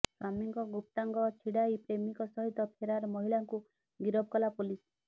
ସ୍ୱାମୀଙ୍କ ଗୁପ୍ତାଙ୍ଗ ଛିଡ଼ାଇ ପ୍ରେମିକ ସହିତ ଫେରାର ମହିଳାଙ୍କୁ ଗିରଫ କଲା ପୁଲିସ